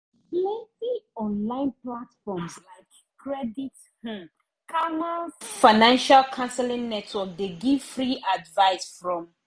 plenty online platforms like credit um karma financial counseling network dey give free advice from